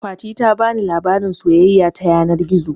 Fati ta bani labarin soyayya ta yanar gizo